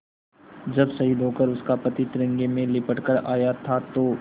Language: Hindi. जब शहीद होकर उसका पति तिरंगे में लिपट कर आया था तो